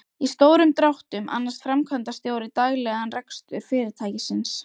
Í stórum dráttum annast framkvæmdastjóri daglegan rekstur fyrirtækisins.